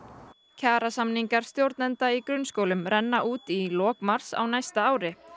kjarasamningar stjórnenda í grunnskólum renna út í lok mars á næsta ári